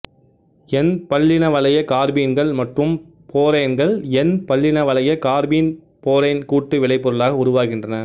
என்பல்லினவளைய கார்பீன்கள் மற்றும் போரேன்கள் என்பல்லினவளைய கார்பீன் போரேன் கூட்டு விளைபொருளாக உருவாகின்றன